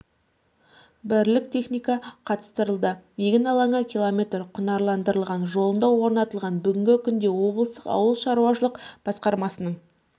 бірлік техника қатыстырылды егін алаңы км құнарландырылған жолында орнатылған бүгінгі күнде облыстың ауыл шаруашылық басқармасының